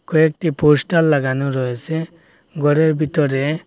কয়েকটি পোস্টার লাগানো রয়েছে ঘরের ভিতরে।